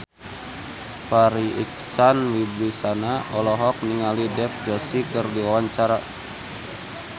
Farri Icksan Wibisana olohok ningali Dev Joshi keur diwawancara